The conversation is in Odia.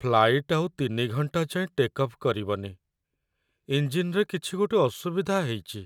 ଫ୍ଲାଇଟ୍‌ ଆଉ ୩ ଘଣ୍ଟା ଯାଏଁ ଟେକ୍ ଅଫ୍ କରିବନି । ଇଞ୍ଜିନ୍‌ରେ କିଛି ଗୋଟେ ଅସୁବିଧା ହେଇଚି ।